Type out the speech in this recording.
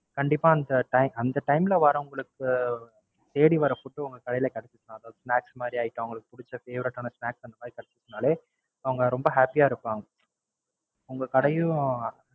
கண்டிப்பா அந்த அந்த Time ல வரவுங்களுக்கு தேடி வர Food உங்க கடைல கிடைச்சுச்சுனா அதாவது Snacks மாறி Item அவுங்களுக்கு புடுச்ச Favorite ஆன Snacks அந்த மாதிரி கிடைச்சுச்சுனாலே அவுங்க ரொம்ப Happy ஆ இருப்பாங்க. உங்க கடையும்